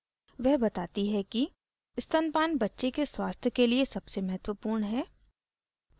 वह बताती है कि स्तनपान बच्चे के स्वस्थ के लिए सबसे महत्वपूर्ण है